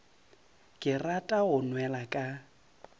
ke rata go nwela ka